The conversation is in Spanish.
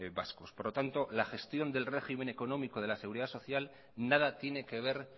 vascos por lo tanto la gestión del régimen económico de la seguridad social nada tiene que ver